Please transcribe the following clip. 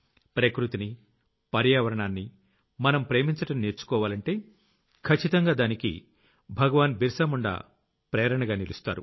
ప్రకృతిని పర్యావరణాన్ని మనం ప్రేమించడం నేర్చుకోవాలంటే కచ్చితంగా దానికి భగవాన్ బిరసా ముండ్ మనకు ప్రేరణగా నిలుస్తారు